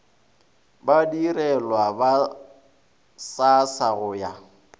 badirelwa ba srsa go ya